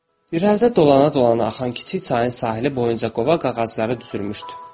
İrəlidə dolana-dolana axan kiçik çayın sahili boyunca qova ağacları düzülmüşdü.